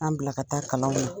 An bila ka taa kalanw na